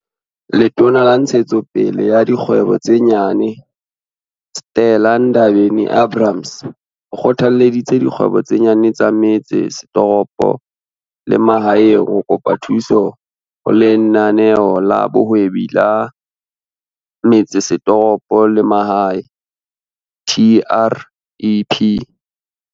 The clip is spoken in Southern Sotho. Letona la Ntshetso pele ya Dikgwebo tse Nyane, Stella Ndabeni-Abrahams, o kgothalleditse dikgwebo tse nyane tsa metse setoropo le mahaeng ho kopa thuso ho Lenaneo la Bohwebi la Metsesetoropo le Mahae, TREP.